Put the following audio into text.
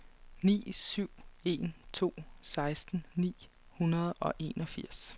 ni syv en to seksten ni hundrede og enogfirs